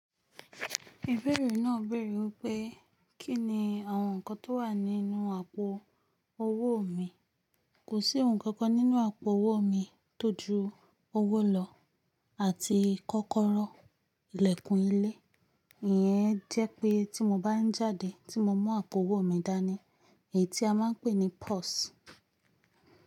Ìbéèrè náà béèrè wípé, kínni àwọn nǹkan tó wà nínú àpò owó mi. Kò sí ohun kankan nínú àpò owó mi tó ju owó lọ àti kọ́kọ́rọ́, ìlẹ̀kùn ilé. Ìyẹn jẹ́ pé tí mo bá ń jáde tí mo mú àpò owó mi dání, èyí tí a máa ń pè ní purse.